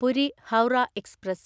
Puri Howrah express